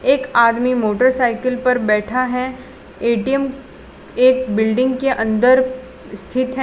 एक आदमी मोटरसाइकिल पर बैठा है ए_टी_एम एक बिल्डिंग के अंदर स्थित है।